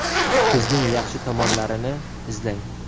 Kuzning yaxshi tomonlarini izlang.